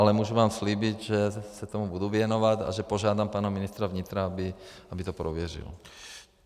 Ale můžu vám slíbit, že se tomu budu věnovat a že požádám pana ministra vnitra, aby to prověřil.